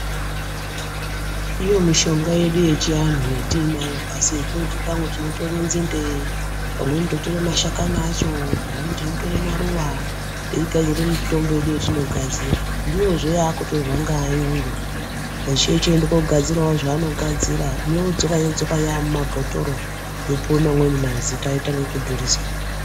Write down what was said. Iyo mishonga yedu yechianhu yetinayo pasi yetinoti pamwe tinotore nzinde pamweni totora mashakani acho, pamweni tinotora maruwa teigadzira mitombo yedu yetinogadzira ndiyozve yaakutirwa ngeayungu ochiende koogadzirawo zvaanogadzira yoodzoka yodzoka yamumabhotoro yopuwe mamweni mazita yotange kudhuriswa.